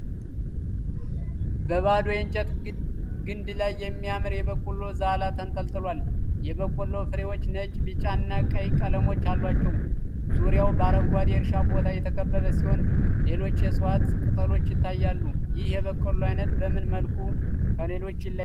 በባዶ የእንጨት ግንድ ላይ የሚያምር የበቆሎ ዛላ ተንጠልጥሏል። የበቆሎው ፍሬዎች ነጭ፣ ቢጫ እና ቀይ ቀለሞች አሏቸው። ዙሪያው በአረንጓዴ የእርሻ ቦታ የተከበበ ሲሆን ሌሎች የእጽዋት ቅጠሎች ይታያሉ። ይህ የበቆሎ አይነት በምን መልኩ ከሌሎች ይለያል?